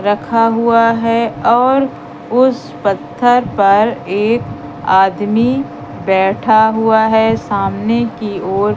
रखा हुआ है और उस पत्थर पर एक आदमी बैठा हुआ है सामने की ओर--